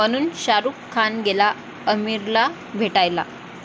...म्हणून शाहरूख खान गेला आमिरला भेटायला!